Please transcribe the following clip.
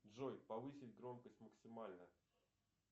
джой повысить громкость максимально